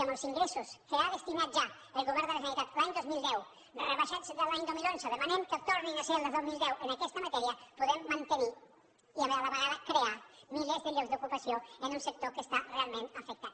amb els ingressos que hi ha destinat ja el govern de la generalitat l’any dos mil deu rebaixats l’any dos mil onze demanem que tornin a ser els del dos mil deu en aquesta matèria podem mantenir i a la vegada crear milers de llocs d’ocupació en un sector que està realment afectat